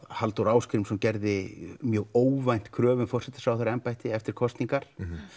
Halldór Ásgrímsson gerði mjög óvænt kröfu um forsætisráðherraembætti eftir kosningar